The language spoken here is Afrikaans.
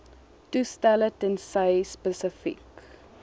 toestelle tensy spesifiek